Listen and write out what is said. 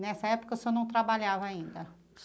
Nessa época, o senhor não trabalhava ainda?